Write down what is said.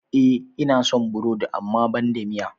E, ina son burodi amma banda miya.